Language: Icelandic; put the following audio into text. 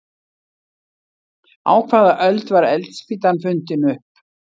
Á hvaða öld var eldspýtan fundin upp?